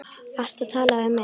Ertu að tala við mig?